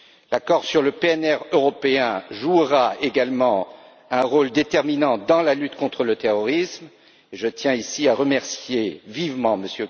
L'accord sur le PNR européen jouera également un rôle déterminant dans la lutte contre le terrorisme, et je tiens ici à remercier vivement